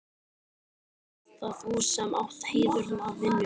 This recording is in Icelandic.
Og ert það þú sem átt heiðurinn af vinnunni?